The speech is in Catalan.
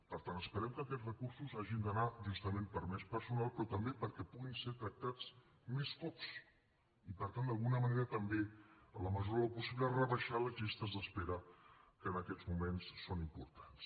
per tant esperem que aquests recursos hagin d’anar justament per a més personal però també perquè puguin ser tractats més cops i per tant d’alguna manera també en la mesura del possible rebaixar les llistes d’espera que en aquests moments són importants